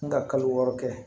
N ka kalo wɔɔrɔ kɛ